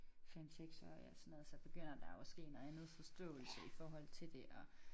5 6 årig og sådan noget så begynder der jo at ske noget andet forståelse i forhold til det og